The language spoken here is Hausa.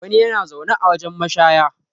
wani yana zaune a wajen mashaya